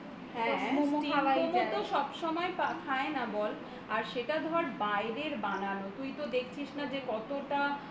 হ্যাঁ steam momo তো সবসময় খায় না বল আর সেটা ধর বাইরের বানানো তুই তো দেখছিস না যে কতটা